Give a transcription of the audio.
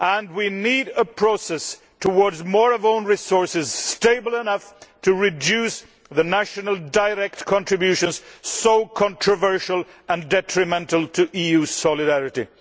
We need a process towards more own resources stable enough to reduce the national direct contributions so controversial and detrimental to EU solidarity.